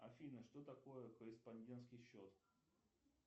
афина что такое корреспондентский счет